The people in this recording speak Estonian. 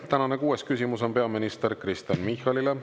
Tänane kuues küsimus on peaminister Kristen Michalile.